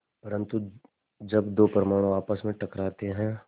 परन्तु जब दो परमाणु आपस में टकराते हैं